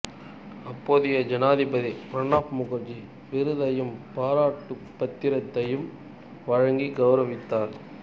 அப்போதைய ஜனாதிபதி பிரணாப்முகர்ஜி விருதையும் பாராட்டுப் பத்திரத்தையும் வழங்கிக் கவுரவித்தார்